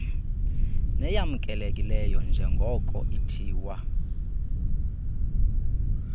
neyamkelekileyo njrngoko ithiwa